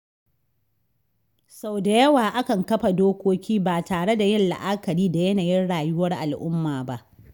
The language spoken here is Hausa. Sau da yawa akan kafa dokoki ba tare da yin la’akari da yanayin rayuwar al’umma ba.